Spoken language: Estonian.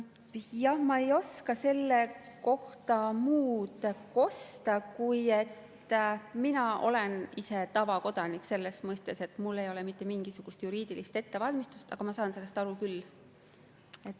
Jah, ma ei oska selle kohta muud kosta, kui et mina olen ka selles mõttes tavakodanik, et mul ei ole mitte mingisugust juriidilist ettevalmistust, aga ma saan sellest aru küll.